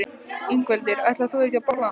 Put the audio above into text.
Ingveldur: Ætlar þú ekki að borða hann?